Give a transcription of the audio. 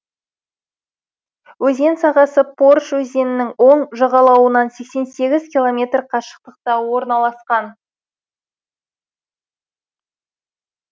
өзен сағасы порыш өзенінің оң жағалауынан сексен сегіз километр қашықтықта орналасқан